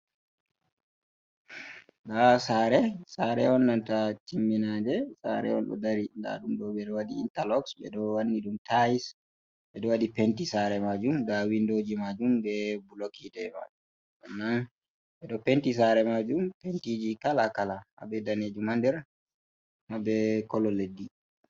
Ndaa saare ,saare on nanta timminaande, saare on ɗo dari ndaa ɗum ɗo ,ɓe ɗo waɗi intalos, ɓe ɗo wanni ɗum tayis. Ɓe ɗo waɗi penti saare maajum ,ndaa winndooji maajum be bulok yiite maajum. Hm ɓe ɗo penti saare maajum be pentiiji kala kala haa be daneejum haa nder haa be kolo leddi.